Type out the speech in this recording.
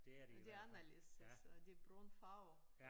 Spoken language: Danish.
Men de anderledes altså den brune farve